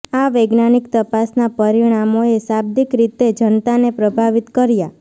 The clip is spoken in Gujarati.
આ વૈજ્ઞાનિક તપાસના પરિણામોએ શાબ્દિક રીતે જનતાને પ્રભાવિત કર્યા